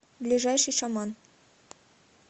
ближайший шаман